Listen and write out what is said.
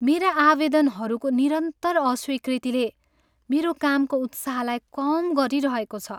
मेरा आवेदनहरूको निरन्तर अस्वीकृतिले मेरो कामको उत्साहलाई कम गरिरहेको छ।